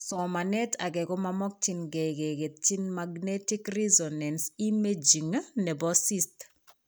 Somanet ake komamokyinkee keketyi magnetic resonance imaging nebo cyst